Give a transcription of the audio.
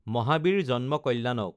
Mahavir Janma Kalyanak